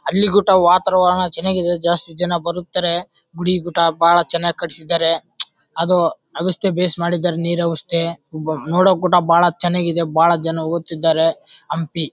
ಹಳ್ಳಿ ಗುಟ್ಟೊ ವಾತಾವರಣ ಚನ್ನಾಗಿದೆ ಜಾಸ್ತಿ ಜನ ಬರುತ್ತಾರೆ ಗುಡಿ ಗೂಟ ಬಹಳ ಚನ್ನಾಗಿ ಕಟ್ಟಿಸಿದ್ದರೆ. ಅದು ಅಗಸ್ಥೆ ಬೇಸ್ ಮಾಡಿದರೆ ನೀರ್ ಅವಸ್ಥೆ ನೋಡಕೂಡ ಕೂಡ ಬಹಳ ಚನ್ನಾಗಿದೆ. ಬಹಳ ಜನ ಒತ್ತಿದರೆ ಹಂಪಿ--